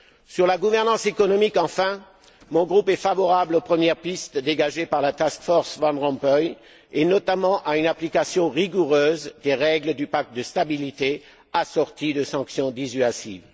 Sur la gouvernance économique, enfin, mon groupe est favorable aux premières pistes dégagées par la task force Van Rompuy, et notamment à une application rigoureuse des règles du pacte de stabilité, assorties de sanctions dissuasives.